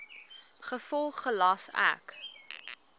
gevolglik gelas ek